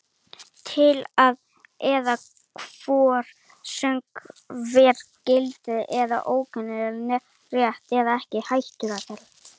Tilleiðsla er er hvorki sögð vera gild eða ógild né rétt eða ekki rétt.